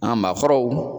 An maakɔrɔw